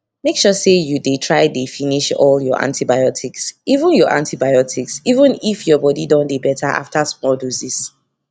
make sure say you dey try dey finish all your antibiotics even your antibiotics even if your body don dey better after small doses